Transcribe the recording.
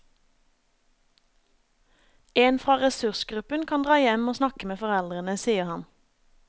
En fra ressursgruppen kan dra hjem og snakke med foreldrene, sier han.